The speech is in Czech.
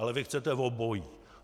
Ale vy chcete obojí.